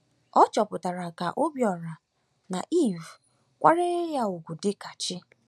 Ọ chọpụtara ka Obíọra na eve kwanyere ya ugwu dịka chi.